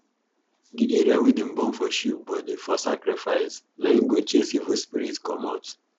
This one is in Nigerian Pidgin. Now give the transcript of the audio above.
the area wey them burn for sheep body for sacrifice na im go chase evil spirit comot